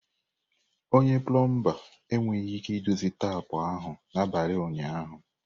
Onye plomba enweghị ike idozi tapu ahụ n'abalị ụnyaahụ.